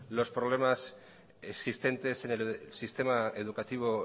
los problemas existentes en el sistema educativo